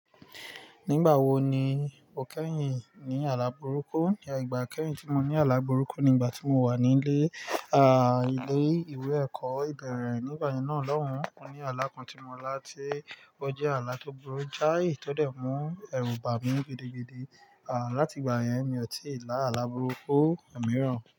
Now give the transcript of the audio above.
Nígbà wo ni o kẹ́yìn ní alábúrúkú? Ìgbà kẹ́yìn tí mo ní alábúrúkú nígbà tí mo wà ní ilé, à, ilé ìwé ẹ̀kọ́ ìbẹ̀rẹ̀. Nígbà yẹn náà lohun, o ní alá kan tí mo lá tí o jẹ́ alá tó gburu jái tò dẹ̀ mú ẹrù bà mí gidigidi. À, láti ìgbà yẹn ni mo tì lá alábúrúkú omiràn.